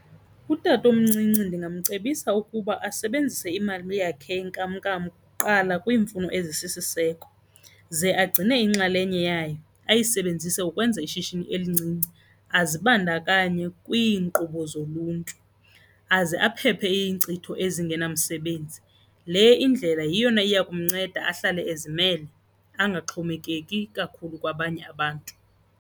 Utatomncinci ndingamcebisa ukuba asebenzise imali yakhe yenkamnkam kuqala kwiimfuno ezisisiseko. Ze agcine inxalenye yayo ayisebenzise ukwenza ishishini elincinci, azibandakanye kwinkqubo zoluntu aze aphephe iinkcitho ezingenamsebenzi. Le indlela yiyona iya kumnceda ahlale ezimele angaxhomekeki kakhulu kwabanye abantu.